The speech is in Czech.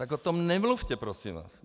Tak o tom nemluvte, prosím vás.